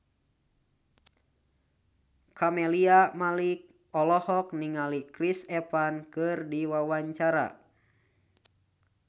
Camelia Malik olohok ningali Chris Evans keur diwawancara